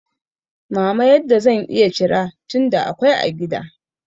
mama yadda zan iya cira, tunda akwai a gida.